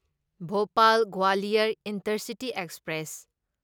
Bhopal Gwalior intercity express